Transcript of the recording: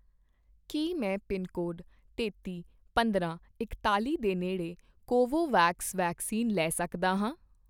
ਕੀ ਮੈਂ ਪਿਨਕੋਡ ਤੇਤੀ, ਪੰਦਰਾਂ, ਇਕਤਾਲ਼ੀ ਦੇ ਨੇੜੇ ਕੋਵੋਵੈਕਸ ਵੈਕਸੀਨ ਲੈ ਸਕਦਾ ਹਾਂ?